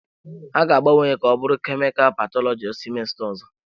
Ha ga-agbanwe ya ka ọ bụrụ kemikal pathology semester ọzọ.